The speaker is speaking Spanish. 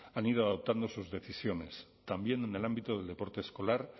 han ido adoptando sus decisiones también en el ámbito del deporte escolar